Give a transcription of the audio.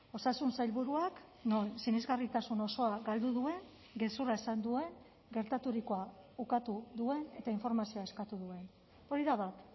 osasun sailburuak non sinesgarritasun osoa galdu duen gezurra esan duen gertaturikoa ukatu duen eta informazioa eskatu duen hori da bat